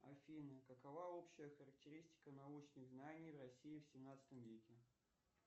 афина какова общая характеристика научных знаний в россии в семнадцатом веке